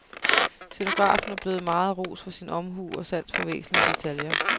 Scenografen er blevet meget rost for sin omhu og sans for væsentlige detaljer.